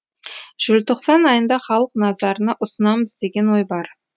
желтоқсан айында халық назарына ұсынамыз деген ой бар